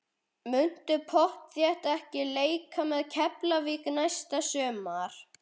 Muntu pottþétt ekki leika með Keflavík næsta sumar?